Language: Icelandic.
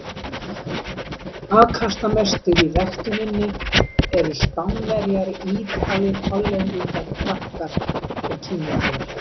Afkastamestir í ræktuninni eru Spánverjar, Ítalir, Hollendingar, Frakkar og Kínverjar.